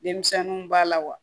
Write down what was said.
Denmisɛnninw b'a la wa